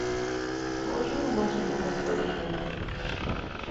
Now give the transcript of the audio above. положи на мой телефон сто рублей